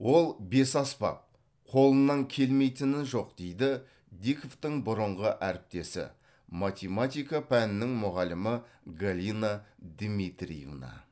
ол бесаспап қолынан келмейтіні жоқ дейді диковтың бұрынғы әріптесі математика пәнінің мұғалімі галина дмитриевна